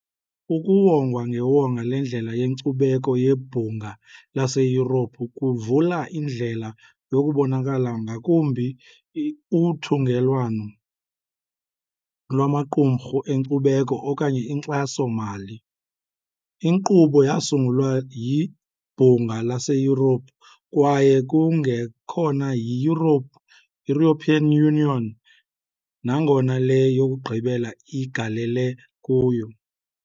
Ukuwongwa ngewonga leNdlela yeNkcubeko yeBhunga laseYurophu kuvula indlela yokubonakala ngakumbi, uthungelwano lwamaqumrhu enkcubeko okanye inkxaso-mali. Inkqubo yasungulwa yiBhunga laseYurophu kwaye kungekhona yi-European Union, nangona le yokugqibela igalele kuyo.